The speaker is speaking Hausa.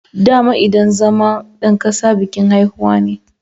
Dama idan zama dan kasa bikin haihuwa ne